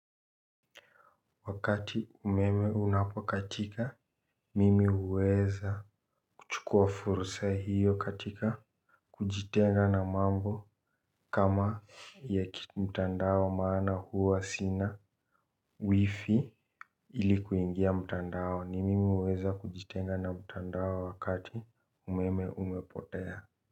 Wakati umeme unapokatika mimi huweza kuchukua fursa hiyo katika kujitenga na mambo kama ya kimtandao maana huwa sina. Wifi ili kuingia mtandaoni mimi huweza kujitenga na mtandao wakati umeme umepotea.